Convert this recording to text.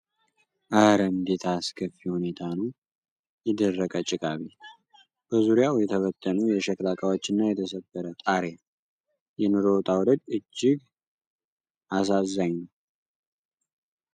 ኧረ እንዴት ያለ አስከፊ ሁኔታ ነው! የደረቀ ጭቃ ቤት! በዙሪያው የተበተኑ የሸክላ ዕቃዎች እና የተሰበረ ጣሪያ! የኑሮ ውጣ ውረድ እጅግ አሳዛኝ ነው!